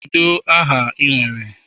Kedu aha ị nwere?